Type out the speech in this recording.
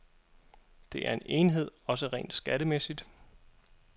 Det er en enhed, også rent skattemæssigt.